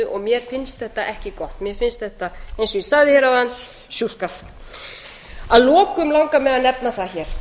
og mér finnst þetta ekki gott mér finnst þetta eins og ég sagði hér áðan sjúskað að lokum langar mig að nefna það hér